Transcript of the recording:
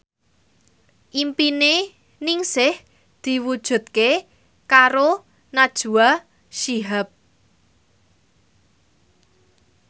impine Ningsih diwujudke karo Najwa Shihab